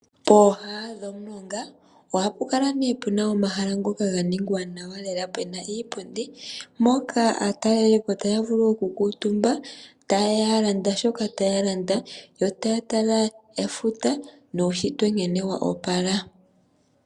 Pooha dhomulonga ohapu kala pu na omahala ngoka ga ningwa nawa lela pu na iipundi mpoka aatalelipo taya vulu okukuutumba taya landa shoka taya landa yo taya tala efuta nuushitwe nkene wa opala.